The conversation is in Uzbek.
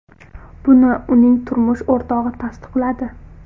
Buni uning turmush o‘rtog‘i tasdiqladi .